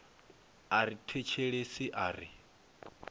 a ri thetshelesi a ri